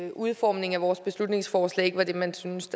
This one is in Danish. at udformningen af vores beslutningsforslag ikke var det man synes